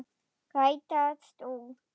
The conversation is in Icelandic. Rætast úr?